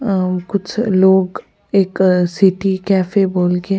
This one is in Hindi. अ कुछ लोग एक सिटी कॅफे बोल के --